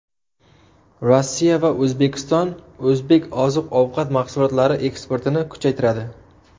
Rossiya va O‘zbekiston o‘zbek oziq-ovqat mahsulotlari eksportini kuchaytiradi.